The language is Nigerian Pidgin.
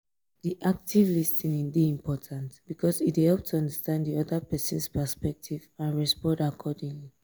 di active lis ten ing dey important because e dey help to understand di oda pesin's perspective and respond accordingly.